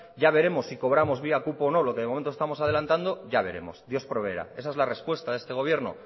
ya veremos si cobramos vía cupo o no lo que de momento estamos adelantando ya veremos dios proveerá esa es la respuesta de este gobierno